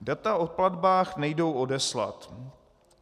Data o platbách nejdou odeslat.